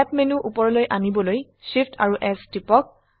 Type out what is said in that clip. snap menu উপৰলৈ আনিবলৈ Shift amp S টিপক